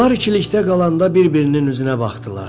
Onlar ikilikdə qalanda bir-birinin üzünə baxdılar.